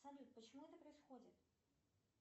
салют почему это происходит